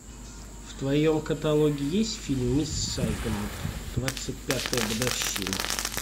в твоем каталоге есть фильм мисс сайгон двадцать пятая годовщина